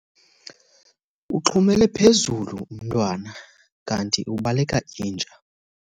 Uxhumele phezulu umntwana kanti ubaleka inja.